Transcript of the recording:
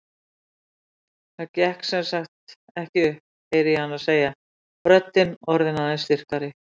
Það gekk sem sagt ekki upp, heyri ég hana segja, röddin orðin aðeins styrkari.